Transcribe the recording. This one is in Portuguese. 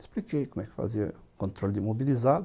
Expliquei como é que fazia controle de imobilizado.